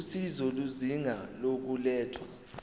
usizo izinga lokulethwa